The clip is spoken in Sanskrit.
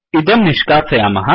इदं निष्कासयामः